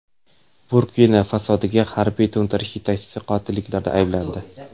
Burkina-Fasodagi harbiy to‘ntarish yetakchisi qotilliklarda ayblandi .